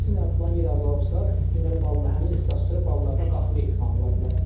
Əksinə, plan yeri azalıbsa, deməli balların həmin ixtisas üzrə ballarda qalxma ehtimalı ola bilər.